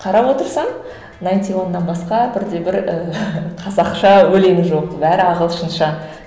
қара отырсаң найнти уаннан басқа бірде бір і қазақша өлең жоқ бәрі ағылшынша